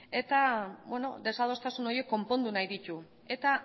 eta desadostasun horiek konpondu nahi ditu eta